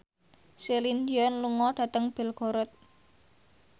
Celine Dion lunga dhateng Belgorod